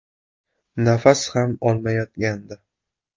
Nafas ham olmayotgandi.